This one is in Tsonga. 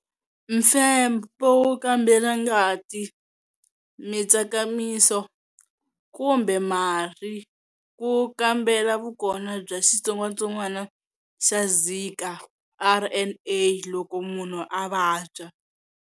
Mfembo wo kambela ngati, mitsakamiso, kumbe marhi ku kambela vukona bya xitsongwatsongwana xa Zika RNa loko munhu a vabya.